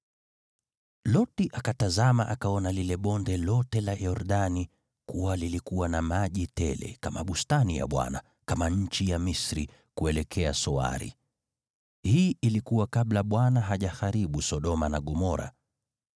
Loti akatazama akaona lile bonde lote la Yordani kuwa lilikuwa na maji tele, kama bustani ya Bwana , kama nchi ya Misri, kuelekea Soari. (Hii ilikuwa kabla Bwana hajaharibu Sodoma na Gomora.)